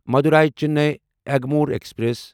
Madurai Chennai Egmore express